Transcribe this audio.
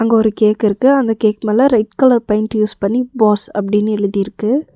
அங்கொரு cake இருக்கு அந்த cake மேல ரெட் கலர் பெயிண்ட் யூஸ் பண்ணி பாஸ் அப்டின்னு எழுதிருக்கு.